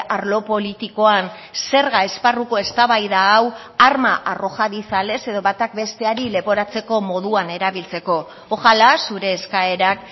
arlo politikoan zerga esparruko eztabaida hau arma arrojadiza lez edo batak besteari leporatzeko moduan erabiltzeko ojala zure eskaerak